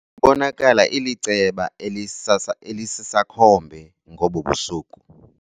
Ibonakala iliceba elisisakhombe ngobu busuku.